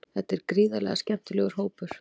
Þetta er gríðarlega skemmtilegur hópur.